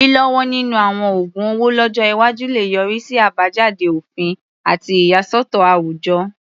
Lílọ́wọ́ nínú àwọn oògun owó lọ́jọ́ iwájú lè yọrí sí àbájáde òfin àti ìyàsọ́tọ̀ àwùjọ.